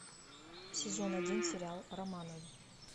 сезон один сериал романовы